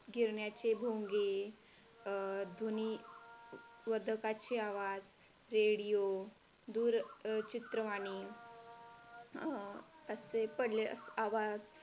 गिरण्याचे भोंगे ध्वनी, वादकाचे आवाज, Radio, दूरचित्रवाणी, अं असे पडले आवाज